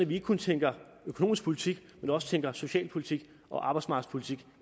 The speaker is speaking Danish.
vi ikke kun tænker økonomisk politik men også tænker socialpolitik og arbejdsmarkedspolitik